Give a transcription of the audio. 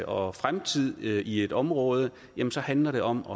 og fremtid i et område handler det om